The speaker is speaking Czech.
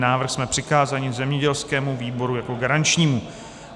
Návrh jsme přikázali zemědělskému výboru jako garančnímu.